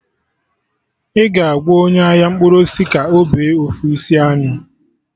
Ị ga-agwa onye ahia mkpụrụ osisi ka ọ bee ofu isi anyụ